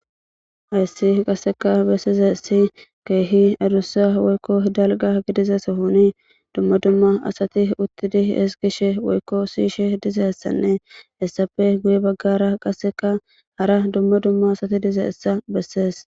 ayssi qasseka bessize issi keehi adussa woykko dalga gidizesa sohoni duma duma asati uttidihi ezgishe woykko siishe dizessanne hessafe guye baggara qasseka hara duma duma asati dize issa bessees.